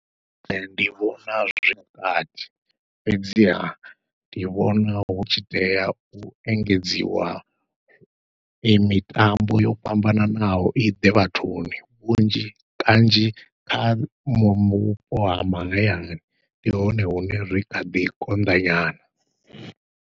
Ee ndi vhona zwi vhukati fhedziha ndi vhona hu tshi tea u engedziwa i mitambo yo fhambananaho, iḓe vhathuni vhunzhi kanzhi kha vhupo ha mahayani ndi hone hune zwi khaḓi konḓa nyana.